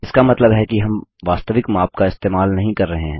इसका मतलब है कि हम वास्तविक माप का इस्तेमाल नही कर रहे हैं